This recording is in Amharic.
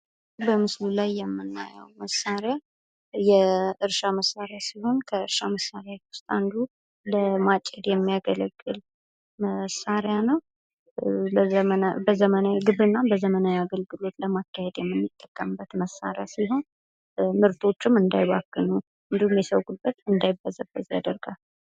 በምስሉ ላይ የምናየው መሳሪያ የእርሻ መስሪያ ሲሆን ከእርሻ መሳሪያዎች ዉስጥ አንዱ ለማጭድ የሚያገለግል መሳሪያ ነው:: ዘመናዊ ግብርናን በዘመናዊ አገልግሎት ለማካሄድ የምንጠቀምበት መሳሪያ ስሆን ምርቶችም እንዳይባክኑ እንዲሁም የሰው ጉልበት እንዳይበዘበዝ ያደርጋል::